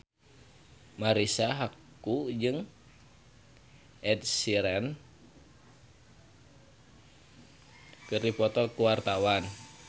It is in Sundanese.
Marisa Haque jeung Ed Sheeran keur dipoto ku wartawan